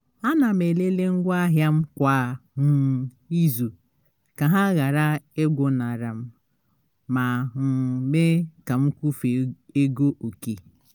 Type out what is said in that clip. ana m elele ngwa ahịa m kwa um ịzu ka ha ghara igwụnarị m ma um mee ka m kwufe ego oke